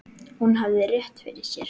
Hún hafði rétt fyrir sér.